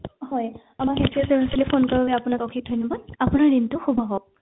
হয় আমাৰ healthcare service লে phone কৰাৰ বাবে আপোনাক অশেষ ধন্যবাদ আপোনাৰ দিনতো শুভ হওক